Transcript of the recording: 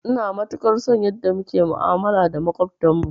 Ina matukar son yanda muke ma'amala da maƙwabtan mu